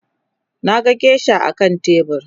Naga geisha akan tebur